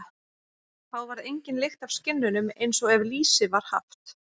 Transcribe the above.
Þá varð engin lykt af skinnunum, eins og ef lýsi var haft.